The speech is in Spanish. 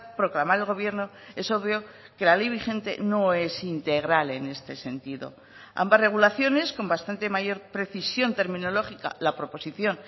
proclamar el gobierno es obvio que la ley vigente no es integral en este sentido ambas regulaciones con bastante mayor precisión terminológica la proposición